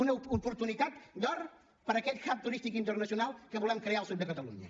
una oportunitat d’or per a aquest hubnacional que volem crear al sud de catalunya